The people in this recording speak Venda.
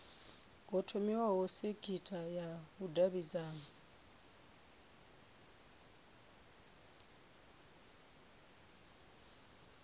ho thomiwa sekitha ya vhudavhidzano